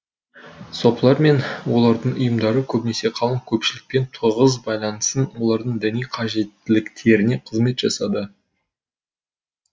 сопылар мен олардың ұйымдары көбінесе қалың көпшілікпен тығыз байланысын олардың діни қажеттіліктеріне қызмет жасады